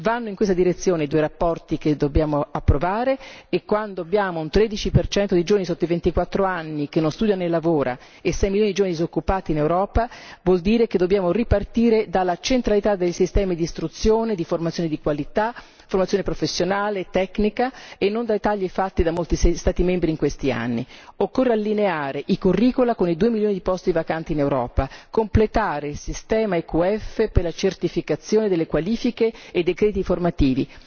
Vanno in questa direzione le due relazioni che dobbiamo approvare e, quando ci troviamo di fronte a un 13 percento di giovani sotto i 24 anni che non studia né lavora e a 6 milioni di giovani disoccupati in Europa, vuol dire che dobbiamo ripartire dalla centralità dei sistemi di istruzione, di formazione di qualità, di formazione professionale e tecnica e non dai tagli fatti da molti Stati membri in questi anni. Occorre allineare i curriculum con i 2 milioni di posti vacanti in Europa, completare il sistema EQF per la certificazione delle qualifiche e dei crediti formativi,